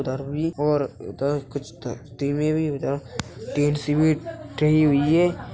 उधर भी ओर उधर कुछ हुई है।